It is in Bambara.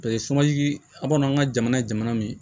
aw kɔni an ka jamana ye jamana min ye